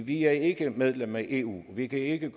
vi er ikke medlem af eu og vi kan ikke